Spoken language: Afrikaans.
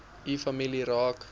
u familie raak